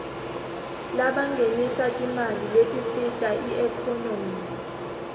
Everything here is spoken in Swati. labangenisa timali letisita iekhonomy